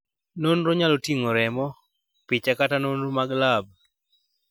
Nonro nyalo ting'o remo, picha kata nonro mag lab